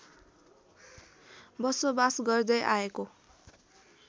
बसोबास गर्दै आएको